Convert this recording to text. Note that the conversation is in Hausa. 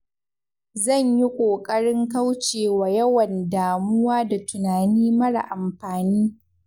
Zan yi ƙoƙarin kaucewa yawan damuwa da tunani mara amfani.